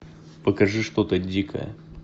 покажи что то дикое